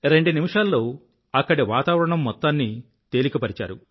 రెండు నిమిషాల్లో అక్కడి వాతావరణం మొత్తాన్ని తేలిక పరిచారు